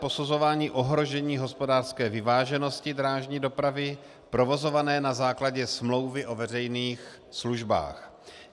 Posuzování ohrožení hospodářské vyváženosti drážní dopravy provozované na základě smlouvy o veřejných službách.